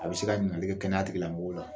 A bɛ se ka ɲiningali kɛ kɛnɛyatigila mɔgɔw la